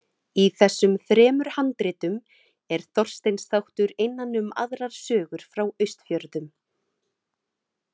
Í þessum þremur handritum er Þorsteins þáttur innan um aðrar sögur frá Austfjörðum.